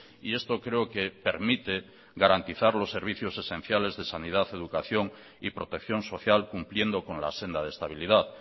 y esto creo que permite garantizar los servicios esenciales de sanidad educación y protección social cumpliendo con la senda de estabilidad